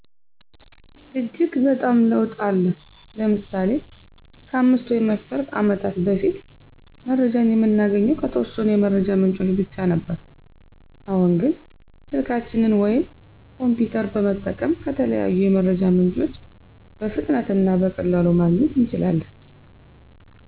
እጅግ በጣም ለውጥ አለ። ለምሳሌ:-ከ 5 ወይም 10 አመታት በፊት መረጃን የምናገኘው ከተወሰኑ የመረጃ ምንጮች ብቻ ነበር አሁን ግን ስልካችንን ወይም ኮሚፒተር በመጠቀም ከተለያዩ የመረጃ ምንጮች በፍጥነት እና በቀላሉ ማግኘት እንችላለን።